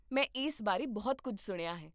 ਮੈਂ ਇਸ ਬਾਰੇ ਬਹੁਤ ਕੁੱਝ ਸੁਣਿਆ ਹੈ